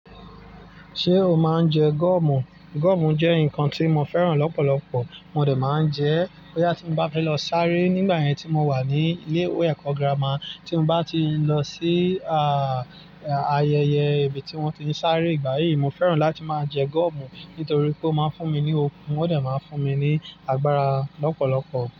Ṣé o máa ń jẹ gúọ́mù? Gúọ́mù jẹ́ nǹkan tí mo fẹ́ràn lọ́pọ̀lọpọ̀, mo dà máa ń jẹ ẹ́. Bóyá tí mo bá fẹ́ lọ sáré nígbà yẹn tí mo wà ní ilé ìwé ẹ̀kọ́ girama, tí mo bá ti lọ sí, àyèyẹ̀ ibì tí wọ́n tí ń sáré ìgbà yìí, mo fẹ́ràn láti máa jẹ gúọ́mù nítorí pé ó máa ń fún mi ní okun, ó dà máa fún mi ní agbára lọ́pọ̀lọpọ̀.